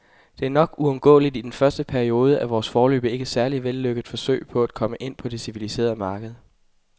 Det er nok uundgåeligt i den første periode af vores, foreløbig ikke særlig vellykkede, forsøg på at komme ind på det civiliserede marked.